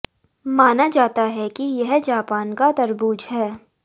माना जाता है कि यह जापान का तरबूज है